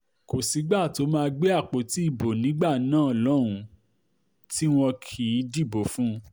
kò sígbà tó máa gbé àpótí ìbò nígbà náà lọ́hùn-ún tí wọn kì í dìbò fún un